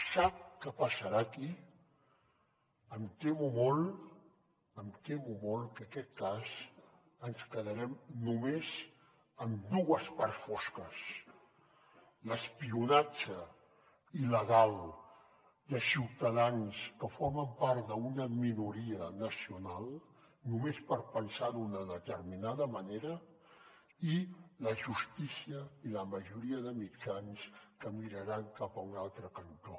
sap què passarà aquí em temo molt em temo molt que en aquest cas ens quedarem només amb dues parts fosques l’espionatge il·legal de ciutadans que formen part d’una minoria nacional només per pensar d’una determinada manera i la justícia i la majoria de mitjans que miraran cap a un altre cantó